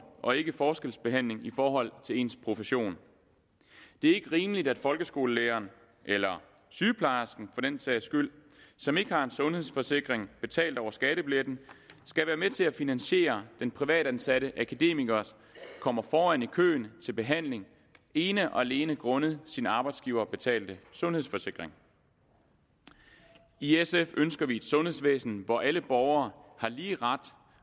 og ikke forskelsbehandling i forhold til ens profession det er ikke rimeligt at folkeskolelæreren eller sygeplejersken for den sags skyld som ikke har en sundhedsforsikring betalt over skattebilletten skal være med til at finansiere den privatansatte akademiker kommer foran i køen til behandling ene og alene grundet sin arbejdsgiverbetalte sundhedsforsikring i sf ønsker vi et sundhedsvæsen hvor alle borgere har lige ret